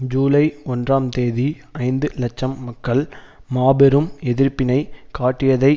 ஜூலை ஒன்றாம் தேதி ஐந்து இலட்சம் மக்கள் மாபெரும் எதிர்ப்பினைக் காட்டியதை